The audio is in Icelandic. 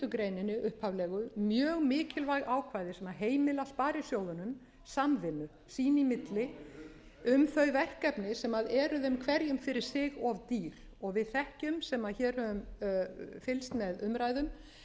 greininni upphaflegu mjög mikilvæg ákvæði sem heimila sparisjóðunum samvinnu sín í milli um þau verkefni sem eru þeim hverjum fyrir sig of dýr við þekkjum sem hér höfum fylgst með